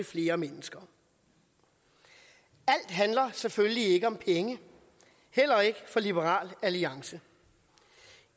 flere mennesker alt handler selvfølgelig ikke om penge heller ikke for liberal alliance